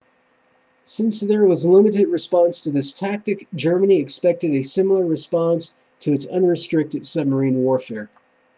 since there was limited response to this tactic germany expected a similar response to its unrestricted submarine warfare